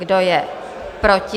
Kdo je proti?